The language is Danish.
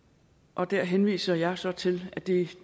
og der henviser jeg så til at det